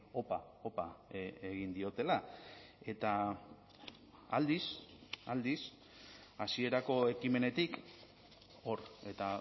opa opa egin diotela eta aldiz aldiz hasierako ekimenetik hor eta